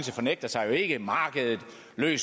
det